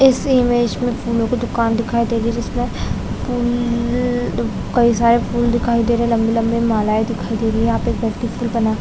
इस इमेज फूलो की दुकान दिखाई दे रही है जिसमे फूल सारे फूल दिखाई दे रहे है लम्बे-लम्बे मालाये दिखाई दे रहे है यहाँ पे एक व्यक्ति फूल बना--